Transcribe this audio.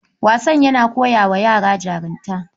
Wasan yana kowa yara jarunta